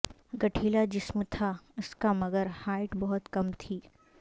گٹھیلا جسم تھا اس کا مگر ہائٹ بہت کم تھی